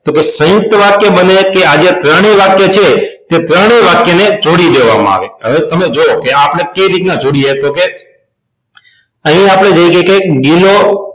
તો કે સયુંકત વાક્ય બને કે આ જે ત્રણેય વાક્ય છે તે ત્રણેય વાક્ય ને જોડી દેવામાં આવે હવે તમે જોવો કે આપણે કઈ રીતના જોડીએ તો કે અહી આપણે જોઈએ છે કે ગિલો